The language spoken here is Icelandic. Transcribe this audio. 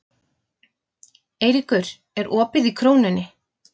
Eyríkur, er opið í Krónunni?